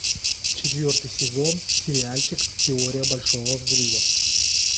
четвертый сезон сериальчик теория большого взрыва